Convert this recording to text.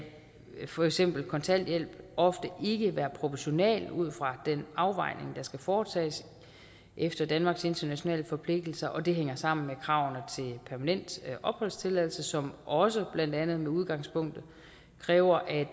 for eksempel kontanthjælp ofte ikke være proportional ud fra den afvejning der skal foretages efter danmarks internationale forpligtelser og det hænger sammen med kravene til permanent opholdstilladelse som også blandt andet som udgangspunkt kræver at